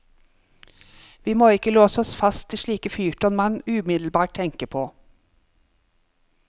Vi må ikke låse oss fast til slike fyrtårn man umiddelbart tenker på.